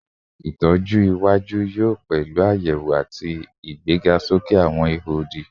Itọju iwaju yoo pẹlu ayewo ati igbegasoke awọn iho odi